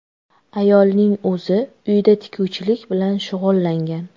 Ayolning o‘zi uyda tikuvchilik bilan shug‘ullangan.